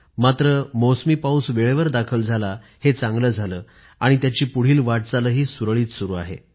मात्र बरं झालं मौसमी पाऊस वेळेवर दाखल झाला आणि त्याची पुढील वाटचाल सुरळीत सुरु आहे